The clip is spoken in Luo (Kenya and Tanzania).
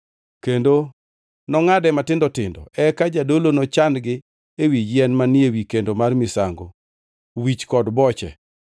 Kendo nongʼade matindo tindo, eka jadolo nochan-gi ewi yien manie wi kendo mar misango wich kod boche.